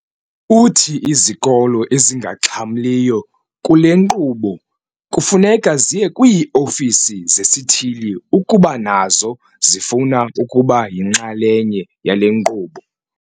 Uthi izikolo ezingaxhamliyo kule nkqubo kufuneka ziye kwii-ofisi zesithili ukuba nazo zifuna ukuba yinxalenye yale nkqubo.